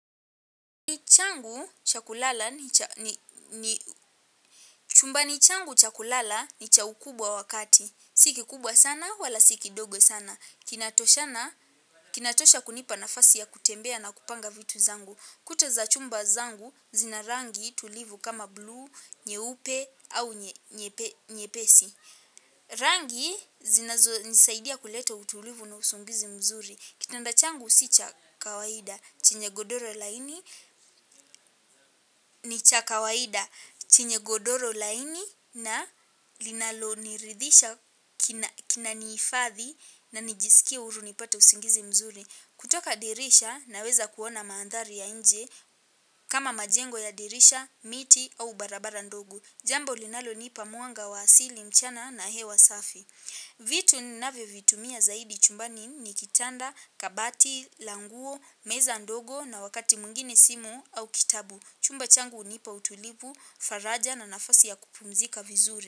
Chumbani changu cha kulala ni cha ukubwa wakati. Si kikubwa sana wala si kidogo sana kinatoshana. Kinatosha kunipa nafasi ya kutembea na kupanga vitu zangu. Kuta za chumba zangu zina rangi tulivu kama blue, nyeupe au nyepesi. Rangi zinazo nisaidia kuleta utulivu na usingizi mzuri. Kitanda changu si cha kawaida. Chenye godoro laini ni cha kawaida. Chenye godoro laini na linalo niridhisha kinaniifathi. Na nijisikia uruni pata usungizi mzuri. Kutoka dirisha naweza kuona maandharia inje. Kama majengo ya dirisha, miti au barabara ndogo. Jambo linalo nipa mwanga wa asili mchana na hewa safi. Vitu ninawe vitumia zaidi chumbani ni kitanda, kabati, languo, meza ndogo na wakati mungini simo au kitabu. Chumba changu unipa utulibu, faraja na nafasi ya kupumzika vizure.